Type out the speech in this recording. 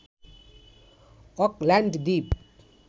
Auckland Dwip